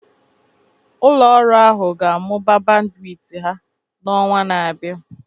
Ụlọ ọrụ ahụ ga-amụba bandwit ya n'ọnwa na-abịa